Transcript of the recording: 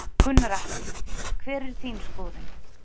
Gunnar Atli: Hver er þín skoðun?